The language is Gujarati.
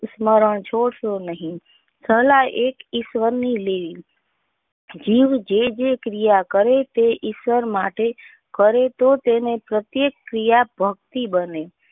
સ્મરણ છોડ શો નહીં. સલાહ એક ઈશ્વર ની લી. જીવ જે જે ક્રિયા કરેં તે ઈશ્વર માટે કરેં તો તેને પ્રત્યેક ક્રિયા ભક્તિ બને.